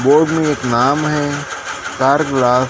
board में एक नाम है चार ग्लास --